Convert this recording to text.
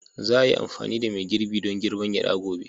Za a yi amfani da mai girbi don girbar gyada gobe.